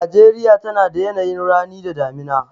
Najeriya tana da yanayin rani da damina.